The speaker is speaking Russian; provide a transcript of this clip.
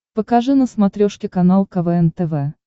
покажи на смотрешке канал квн тв